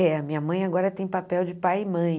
É, a minha mãe agora tem papel de pai e mãe.